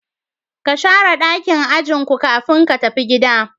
Ka Shara dakin ajin ku kafin ka tafi gida.